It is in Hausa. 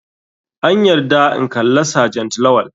An yarda in kalla sergent lawal.